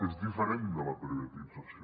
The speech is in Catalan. és diferent de la privatització